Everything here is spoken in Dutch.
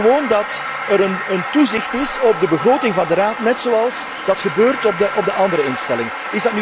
Wij vragen gewoon dat er toezicht is op de begroting van de Raad, net zoals dat gebeurt voor de andere instellingen.